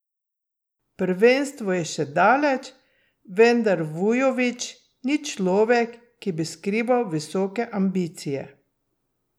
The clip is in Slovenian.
Prvenstvo je še daleč, vendar Vujović ni človek, ki bi skrival visoke ambicije.